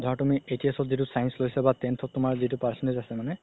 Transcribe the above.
ধৰা তুমি HS ত যিতু science লৈছা বা tenth তুমাৰ যিতু percentage আছে মানে